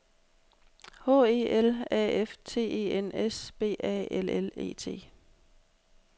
H E L A F T E N S B A L L E T